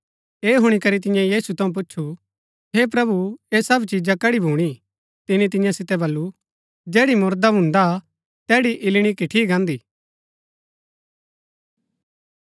ऐह हुणी करी तियें यीशु थऊँ पुछु हे प्रभु ये सब चिजा कड़ी भूणी तिनी तियां सितै वलू जैड़ी मुरदा भुन्दा तैड़ी इल्लणी किटठी गान्दी